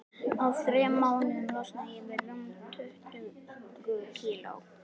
Á þremur mánuðum losnaði ég við rúm tuttugu kíló.